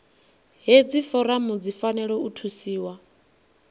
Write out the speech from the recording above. hedzi foramu dzi fanela u thusiwa